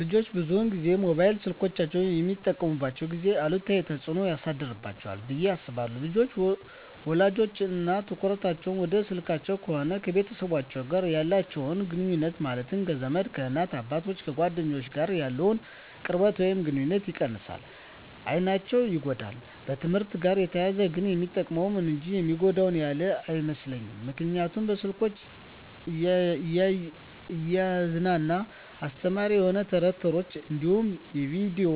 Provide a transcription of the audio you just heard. ልጆች ብዙን ጊዜ ሞባይል ስልኮችን በሚጠቀሙበት ጊዜ አሉታዊ ተፅዕኖ ያሳድርባቸዋል ብየ አስባለሁ። ልጆች ውሎቸው እና ትኩረታቸውን ወደ ስልክ ከሆነ ከቤተሰቦቻቸው ጋር ያላቸውን ግኑኙነት ማለትም ከዘመድ፣ ከእናት አባቶቻቸው፣ ከጓደኞቻቸው ጋር ያለውን ቅርበት ወይም ግኑኝነት ይቀንሳል፣ አይናቸው ይጎዳል፣ በትምህርትአቸው ጋር ተያይዞ ግን የሚጠቅሙ እንጂ የሚጎዳቸው ያለ አይመስለኝም ምክንያቱም በስልኮቻቸው እያዝናና አስተማሪ የሆኑ ተረት ተረቶች እንዲሁም በቪዲዮ